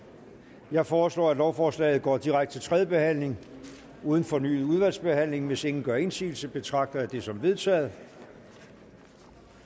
jeg foreslår at lovforslaget går direkte til tredje behandling uden fornyet udvalgsbehandling hvis ingen gør indsigelse betragter jeg det som vedtaget